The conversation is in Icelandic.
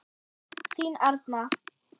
Þín Arna.